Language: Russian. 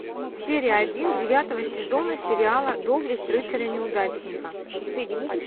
серия один девятого сезона сериала доблесть рыцаря неудачника